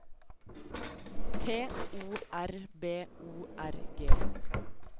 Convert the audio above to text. T O R B O R G